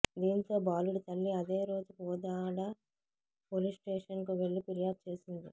దీంతో బాలుడి తల్లి అదేరోజు కోదాడ పోలీస్స్టేషన్కు వెళ్లి ఫిర్యాదు చేసింది